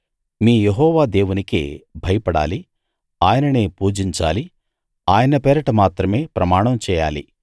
మీ Jehovah దేవునికే భయపడాలి ఆయననే పూజించాలి ఆయన పేరట మాత్రమే ప్రమాణం చేయాలి